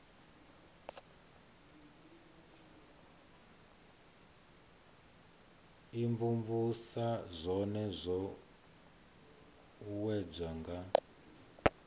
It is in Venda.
imvumvusa zwone zwo uuwedzwa nga